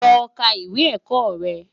Lò ká iwé èkò rè